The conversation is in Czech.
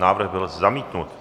Návrh byl zamítnut.